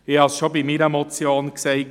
Ich habe es schon bei meiner Motion gesagt.